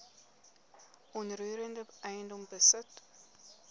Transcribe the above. onroerende eiendom besit